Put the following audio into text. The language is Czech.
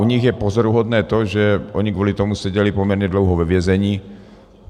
U nich je pozoruhodné to, že oni kvůli tomu seděli poměrně dlouho ve vězení.